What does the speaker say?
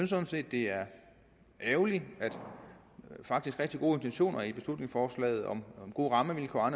sådan set det er ærgerligt at de faktisk rigtig gode intentioner i beslutningsforslaget om gode rammevilkår